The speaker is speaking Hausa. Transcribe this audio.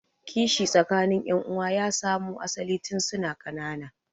Kishi tsakanin yan'uwan ya samu asalin tun suna ƙanana.